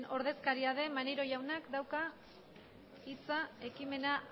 ordezkaria den maneiro jaunak dauka hitza ekimena